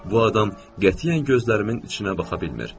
Bu adam qətiyyən gözlərimin içinə baxa bilmir.